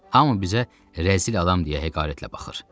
Hamı bizə rəzil adam deyə heqəretlə baxır.